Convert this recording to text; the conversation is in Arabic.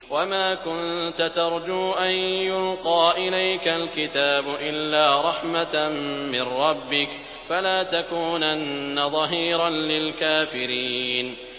وَمَا كُنتَ تَرْجُو أَن يُلْقَىٰ إِلَيْكَ الْكِتَابُ إِلَّا رَحْمَةً مِّن رَّبِّكَ ۖ فَلَا تَكُونَنَّ ظَهِيرًا لِّلْكَافِرِينَ